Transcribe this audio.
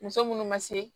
Muso munnu ma se